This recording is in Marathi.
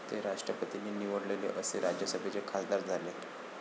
ते राष्ट्रपतींनी निवडलेले असे राज्यसभेचे खासदार झाले